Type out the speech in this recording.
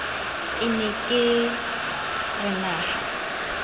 ne ke re na ha